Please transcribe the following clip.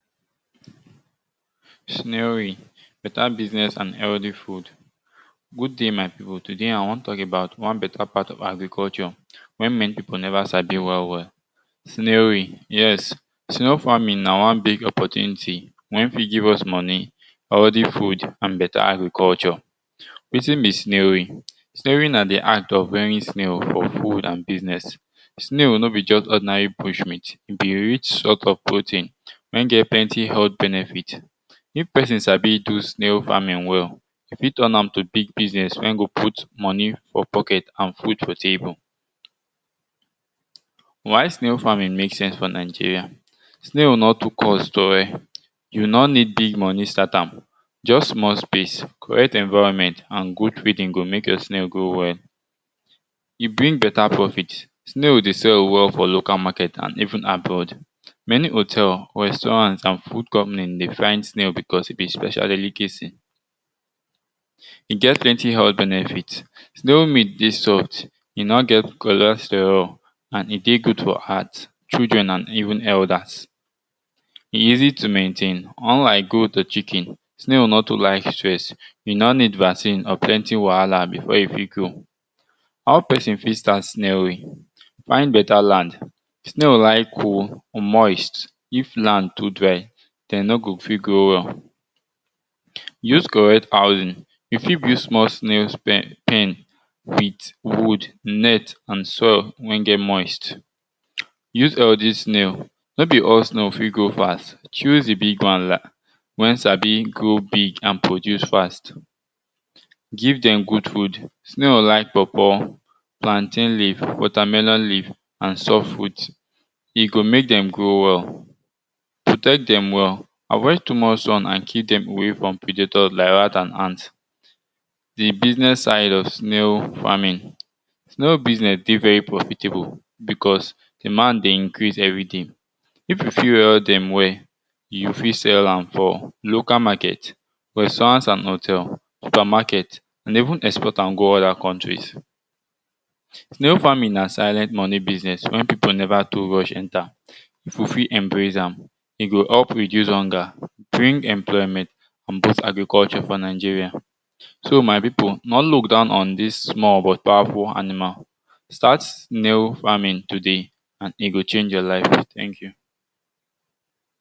Beta business and healthy food. Good day my pipu today I won talk about wan bate part of agriculture snailry. Yes snail farming na wan big opportunity wen fit give us moni nd beta agriculture. Wetin be snary? Snary na di art of raring snail, for food and business snail no be just ordinary bush meat, e rich for protein wen get plnty health benefit. If pesin sabi do snail farming well, e fit turn am to business wen go put food for table. Why snail farming mek sense for Nigeria. Snail nor too cost and yu nor need big moni start am, just small space, correct environment and good feding go mek you snail grow well. E bring beta profit, snail dey sell well for local market and even abroad. Many hotel, restaurant and food company dey find snail because e be special delicacy. E get plenty health benefit, snail meat dey soft and e nor get cholesterol and e dey good for heart, children and even elders. E easy to maintain unlike goat, chicken, snail nor to like stress, e nor need vaccine or plenty wahala before e fit grow. How pesin fit start snairy? Find beta land, us correct housing, you fit use small snail pen with good net and soil wey get moist, use all dis snail no be all snail fit grow fast, choose di big wan wen sabi grow big and produce fast, give dem good food, snail like paw paw, plantain leave, watr melon leave, and some fruit, go mek dem grow well, protect dem well, avoid too much soil and keeo dem from predetor like rat and ant. Di business side of snail, no business dey profitable because demand dey increase every day pipu fit rare dem well, you fit sell am for local market, restaurant and hotel, super market and even export am go other country. Snail farming na silent moni business wey pipu neva too rush enter if you fit embrace am, e go reduce hunger, bring employment on both agriculture for Nigeria, so my pipu nor look down on dis small but powerful animal, start snail farming today and e go change your life thank you.